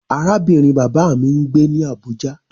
Arábìnrin bàbá mi ń gbé ní Àbújá.